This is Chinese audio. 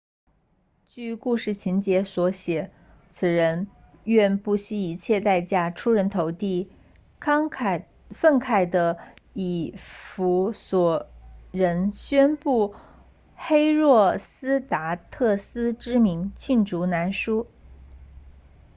据故事情节所写此人愿不惜一切代价出人头地愤慨的以弗所人宣布黑若斯达特斯 herostratus 之名罄竹难书